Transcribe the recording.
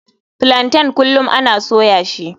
Plaintain kullum ana soya shi.